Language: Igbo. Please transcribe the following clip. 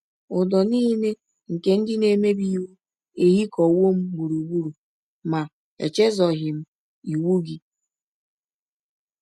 Ụdọ nile nke ndị na - emebi iwụ ehikọwọ m gbụrụgbụrụ; ma echezọghị m iwụ gị. ”